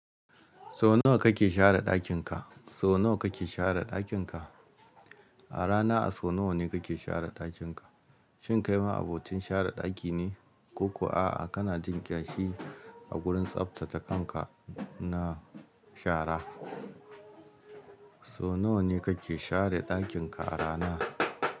Sau nawa kake share ɗakin ka? Sau nawa kake share ɗakin ka? A rana a so nawa ne kake share ɗakin ka? Shin kai ma abocin share ɗaki ne? Ko kuwa a'a kana jin ƙyashi a gurin tsaftace kanka na shara. So nawa ne kake share ɗakin ka a rana?